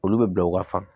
Olu bɛ bila u ka fan